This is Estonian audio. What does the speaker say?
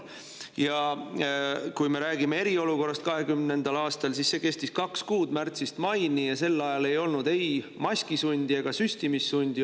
Ja kui me räägime eriolukorrast 2020. aastal, siis see kestis kaks kuud, märtsist maini, ja sel ajal ei olnud ei maskisundi ega süstimissundi.